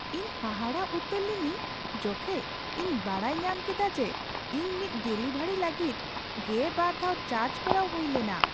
ᱤᱧ ᱦᱟᱦᱟᱲᱟᱜ ᱩᱛᱟᱹᱨ ᱞᱤᱱᱟᱹᱧ ᱡᱚᱠᱷᱮᱡ ᱤᱧ ᱵᱟᱰᱟᱭ ᱧᱟᱢ ᱠᱮᱫᱟ ᱡᱮ ᱤᱧ ᱢᱤᱫ ᱰᱮᱞᱤᱵᱷᱟᱨᱤ ᱞᱟᱹᱜᱤᱫ ᱜᱮ ᱵᱟᱨ ᱫᱷᱟᱣ ᱪᱟᱨᱡᱽ ᱠᱚᱨᱟᱣ ᱦᱩᱭ ᱞᱮᱱᱟ ᱾